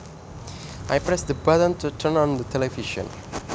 I pressed the button to turn on the television